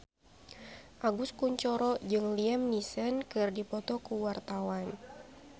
Agus Kuncoro jeung Liam Neeson keur dipoto ku wartawan